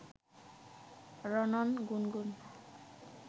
রণন, গুনগুন